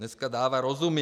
Dneska dává rozumy.